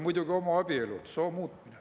Muidugi ka homoabielud ja soo muutmine.